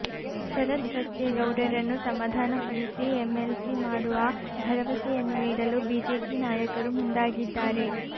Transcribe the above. ಶರತ್ ಬಚ್ಚೇಗೌಡರನ್ನು ಸಮಾಧಾನಪಡಿಸಿ ಎಂಎಲ್ಸಿ ಮಾಡುವ ಭರವಸೆಯನ್ನು ನೀಡಲು ಬಿಜೆಪಿ ನಾಯಕರು ಮುಂದಾಗಿದ್ದಾರೆ